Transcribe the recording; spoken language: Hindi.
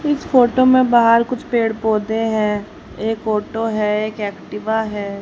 इस फोटो में बाहर कुछ पेड़ पौधे हैं। एक फोटो है एक एक्टिवा है।